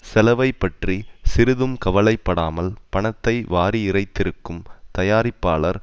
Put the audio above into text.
செலவைப்பற்றி சிறிதும் கவலை படாமல் பணத்தை வாரி இறைத்திருக்கும் தயாரிப்பாளர்